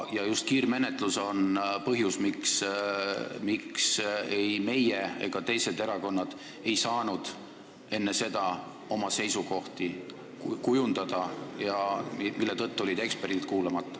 Ja just kiirmenetlus on põhjus, miks ei meie ega teised erakonnad ei saanud enne seda oma seisukohti kujundada ja mille tõttu jäid eksperdid kuulamata.